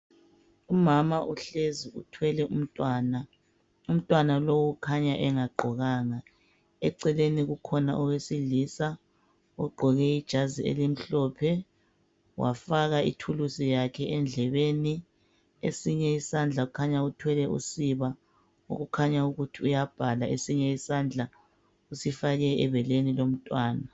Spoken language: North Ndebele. Umama uhlezi uthwele umntwana, umntwana lowu kukhanya engagqokanga ,eceleni kukhona owesilisa ogqoke ijazi elimhlophe wafaka ithulusi yakhe endlebeni esinye isandla kukhanya uthwele usiba okukhanya ukuthi uyabhala esinye isandla wasifaka ebeleni lomtwana .